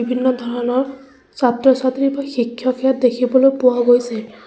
বিভিন্ন ধৰণৰ ছাত্ৰ-ছাত্ৰী শিক্ষক ইয়াত দেখিবলৈ পোৱা গৈছে।